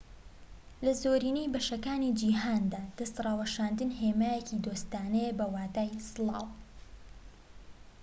لە زۆرینەی بەشەکانی جیهاندا دەست ڕاوەشاندن هێمایەکی دۆستانەیە بە واتای سڵاو